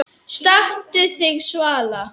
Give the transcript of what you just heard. Stattu þig, Svala